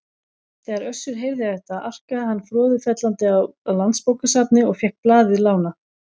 Þegar Össur heyrði þetta arkaði hann froðufellandi á Landsbókasafnið og fékk blaðið lánað.